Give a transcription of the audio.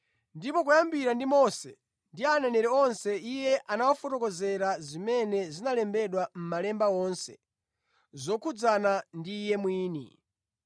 Ndipo kuyambira ndi Mose ndi aneneri onse Iye anawafotokozera zimene zinalembedwa mʼmalemba wonse zokhudzana ndi Iye mwini.